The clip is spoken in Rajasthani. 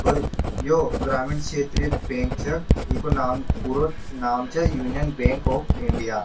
पर यो ग्रामीण क्षेत्रीय बैंक छै इको नाम पूरो नाम छै यूनियन बैंक ऑफ़ इंडिआ ।